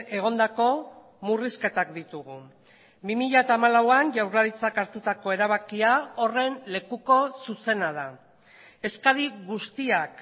egondako murrizketak ditugu bi mila hamalauan jaurlaritzak hartutako erabakia horren lekuko zuzena da eskari guztiak